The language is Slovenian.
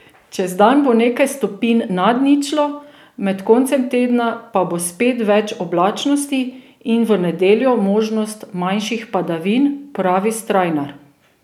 Čez dan bo nekaj stopinj nad ničlo, med koncem tedna pa bo spet več oblačnosti in v nedeljo možnost manjših padavin, pravi Strajnar.